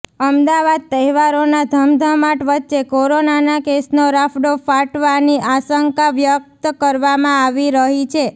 અમદાવાદઃ તહેવારોના ધમધમાટ વચ્ચે કોરોનાના કેસનો રાફોડ ફાટવાની આશંકા વ્યક્ત કરવામાં આવી રહી છે